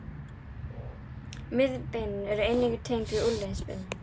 Miðhandarbeinin eru einnig tengd við úlnliðsbeinin.